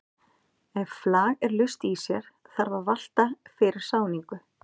Ef flag er laust í sér þarf að valta fyrir sáningu.